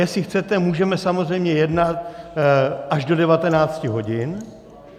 Jestli chcete, můžeme samozřejmě jednat až do 19 hodin.